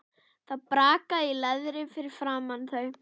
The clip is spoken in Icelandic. Það brakaði í leðri fyrir framan þau.